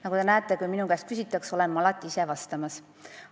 Nagu te näete, kui minu käest midagi küsitakse, olen ma alati ise vastamas.